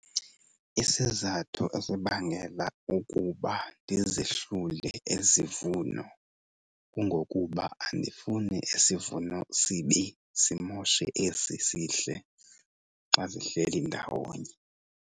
Isizathu esibangela ukuba ndizihlule ezi vuno kungokuba andifuni isivuno sibi simoshe esi sihle xa zihleli ndawonye.